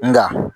Nka